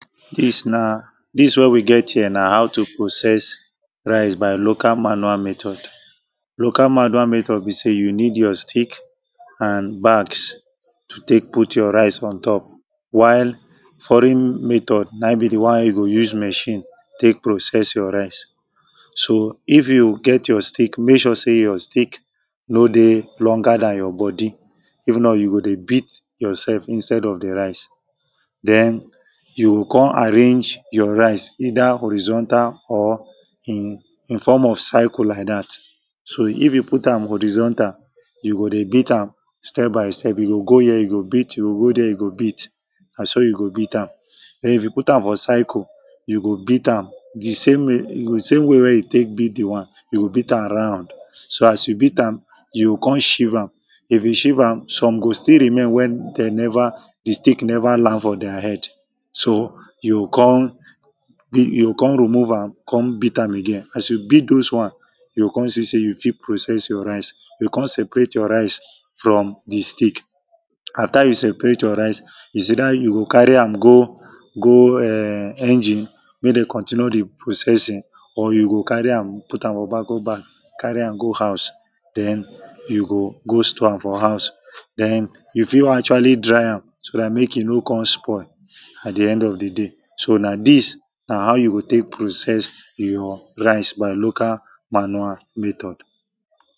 this na this wey we get here na how to process rice by local manual method local manual method be say you need your stick and bags to take put your rice on top while foreign method na im be the one wey you go use machine take process your rice so if you get your stick make sure say your stick no dey longer than your body if not you go dey beat yourself instead of the rice then you go ko?n arrange your rice either horizontal or in in form of cycle like that so if you put am horizontal you go dey beat am step by step you go go here you go beat you go go there you go beat na so you go beat am then if you put am for cycle you go beat am the same w the same way wey you take beat the one you go beat am round so as you beat am you go come shieve am if you shieve am some go still remain wey they never the stick never land for their head so you go come be you go come remove am come beat am again as you beat those one you go come see say you fit process your rice you come separate your rice from the stick after you separate your rice is either you go carry am go go e?n engine make they continue the processing or you go carry am put am for bagco bag carry am go house then you go go store am for house then you fit actually dry am so that make e no come spoil at the end of the day so na this na how you go take process your rice by local manual method